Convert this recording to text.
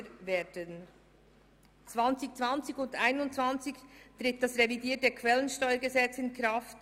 In den Jahren 2020 und 2021 tritt die revidierte Quellensteuergesetzgebung in Kraft.